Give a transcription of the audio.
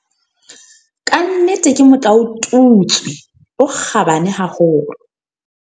"Ka nnete ke motlaotutswe o kgabane haholo."